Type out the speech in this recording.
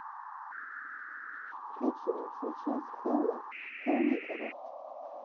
включи лучшую часть хелла хэллнитера